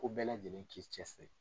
Fo bɛɛ lajɛlen k'i cɛ siri.